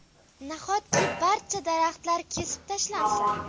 Nahotki barcha daraxtlar kesib tashlansa?